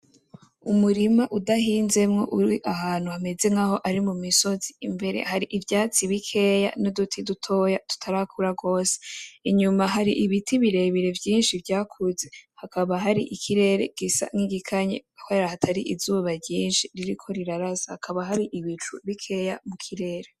Umurima udahinzemwo urahantu mumisozi harimwo ivyatsi bikeya nuduti dutoya tutarakura gose, inyuma ahri ibiti birebire vyinshi vyakuze hakaba harikirere gisa nkigikanye kubera hatari izuba ryinshi ririko rirarasa hakaba hari ibicu bikeya mukirere.